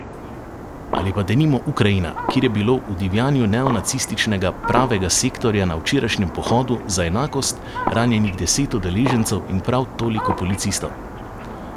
Ali pa denimo Ukrajina, kjer je bilo v divjanju neonacističnega Pravega sektorja na včerajšnjem Pohodu za enakost ranjenih deset udeležencev in prav toliko policistov?